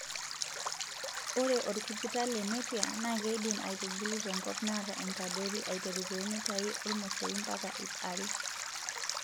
Ore orkujita lenepia na keidim aitubulu tenkop naata enkadori aiteru too mitai ormosori mpaka iip are.